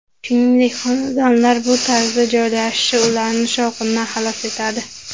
Shuningdek, xonadonlar bu tarzda joylashishi ularni shovqindan xalos etadi.